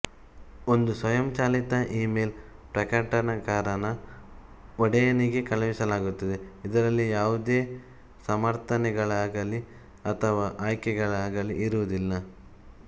ಒಂದು ಸ್ವಯಂಚಾಲಿತ ಇಮೇಲ್ ಪ್ರಕಟನಕಾರನ ಒಡೆಯನಿಗೆ ಕಳುಹಿಸಲಾಗುತ್ತದೆ ಇದರಲ್ಲಿ ಯಾವುದೇ ಸಮರ್ಥನೆಗಳಾಗಲಿ ಅಥವಾ ಆಯ್ಕೆಗಳಾಗಲಿ ಇರುವುದಿಲ್ಲ